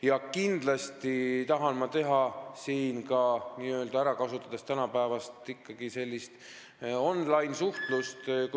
Ja kindlasti tahan ma siin ära kasutada ka tänapäevast online-suhtlust.